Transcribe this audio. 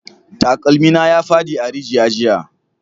Takalmi na ya fadi a rijiya jiya